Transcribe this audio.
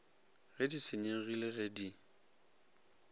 ge di senyegile ge di